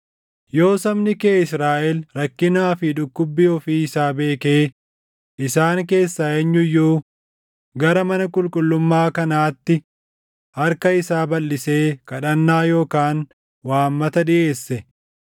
yoo sabni kee Israaʼel rakkinaa fi dhukkubbii ofii isaa beekee isaan keessaa eenyu iyyuu gara mana qulqullummaa kanaatti harka isaa balʼisee kadhannaa yookaan waammata dhiʼeesse,